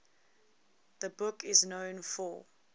the book is known for